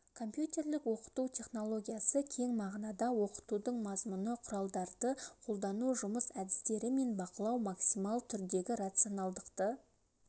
компьютерлік оқыту технологиясы кең мағынада оқытудың мазмұны құралдарды қолдану жұмыс әдістері мен бақылау максимал түрдегі рационалдықты